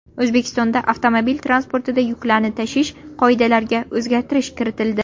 O‘zbekistonda avtomobil transportida yuklarni tashish qoidalariga o‘zgartirish kiritildi.